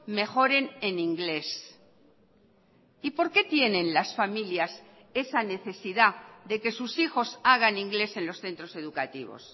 mejoren en inglés y por qué tienen las familias esa necesidad de que sus hijos hagan inglés en los centros educativos